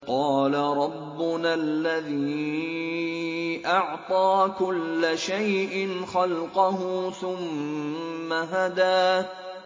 قَالَ رَبُّنَا الَّذِي أَعْطَىٰ كُلَّ شَيْءٍ خَلْقَهُ ثُمَّ هَدَىٰ